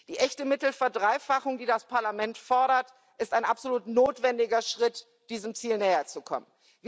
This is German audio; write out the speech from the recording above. Die echte Mittelverdreifachung, die das Parlament fordert, ist ein absolut notwendiger Schritt, diesem Ziel näher zu kommen.